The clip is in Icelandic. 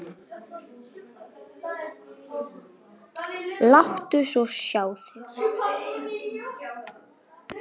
Og láttu svo sjá þig.